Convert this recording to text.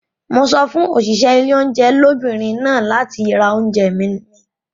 Mo sọ fún òṣìṣẹ́ ilé oúnjẹ lóbìnrin náà láti ra oúnjẹ mi.